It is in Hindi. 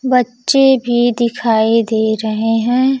बच्चे भी दिखाई दे रहे हैं।